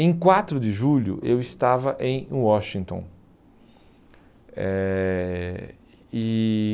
Em quatro de julho, eu estava em Washington. Eh e